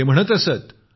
ते म्हणत असत